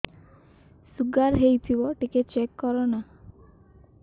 sugar ହେଇଥିବ ଟିକେ check କର ନା